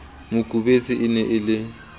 makubetse e ne e le